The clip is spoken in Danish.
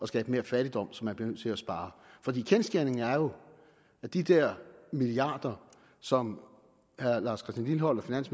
skabe mere fattigdom så man bliver nødt til at spare kendsgerningen er jo at de der milliarder som herre lars christian lilleholt og